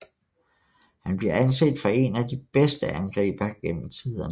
Han bliver anset for én af de bedste angribere gennem tiderne